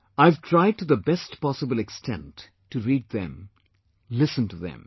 I've tried to the best possible extent to read them, listen to them